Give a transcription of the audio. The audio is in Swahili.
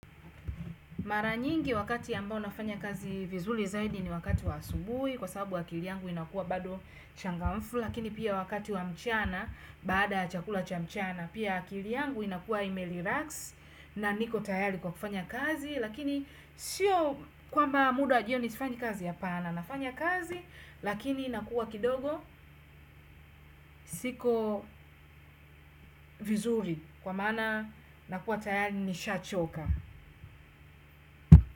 Mara nyingi wakati ambao nafanya kazi vizuri zaidi ni wakati wa asubuhi kwa sababu akili yangu inakuwa bado changamfu lakini pia wakati wa mchana baada ya chakula cha mchana pia akili yangu inakua ime relax na niko tayari kwa kufanya kazi lakini sio kwamba muda wa jioni sifanyi kazi apana nafanya kazi lakini inakua kidogo siko vizuri kwa maana nakuwa tayari nishachoka.